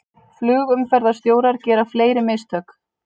Flugumferðarstjórar gera fleiri mistök